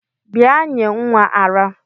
Bia nye nwa ara!!